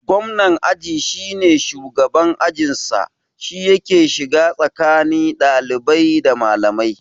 Gwamnan aji shine shugaban a ajin sa, shi yake shiga tsakani ɗalibai da malamai